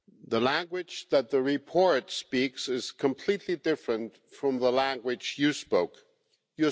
The language that the report speaks is completely different from the language you spoke, Ms Mogherini.